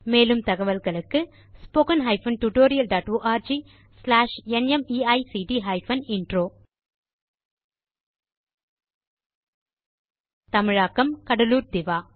மேற்கொண்டு தகவல்களுக்கு தொடர்பு கொள்க httpspoken tutorialorgNMEICT Intro இந்த டியூட்டோரியல் க்கு தமிழில் மொழியாக்கம் கடலூர் திவா